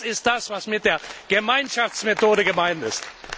Das ist das, was mit der Gemeinschaftsmethode gemeint ist.